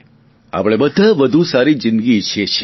આપણે બધા વધુ સારી જિંદગી ઇચ્છીએ છીએ